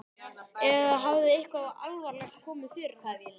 Eða hafði eitthvað alvarlegt komið fyrir hann?